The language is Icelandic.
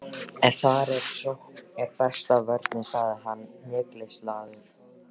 En þar eð sókn er besta vörnin, sagði hann hneykslaður